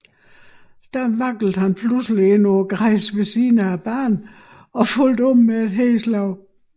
Da vaklede han pludselig ind på græsset ved siden af banen og faldt om med et hedeslag